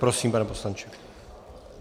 Prosím, pane poslanče.